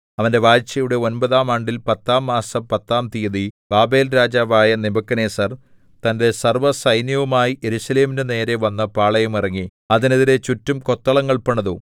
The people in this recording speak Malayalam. അവന്റെ വാഴ്ചയുടെ ഒമ്പതാം ആണ്ടിൽ പത്താം മാസം പത്താം തീയതി ബാബേൽരാജാവായ നെബൂഖദ്നേസർ തന്റെ സർവ്വസൈന്യവുമായി യെരൂശലേമിന്റെ നേരെ വന്ന് പാളയമിറങ്ങി അതിനെതിരെ ചുറ്റും കൊത്തളങ്ങൾ പണിതു